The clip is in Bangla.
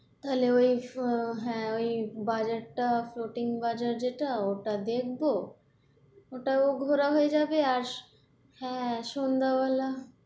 তাহলে ওই হ্যাঁ, ওই বাজার টা floating বাজার যেটা, ওটা দেখবো ওটাও ঘোরা হয়ে যাবে। আর হ্যাঁ সন্ধ্যা বেলা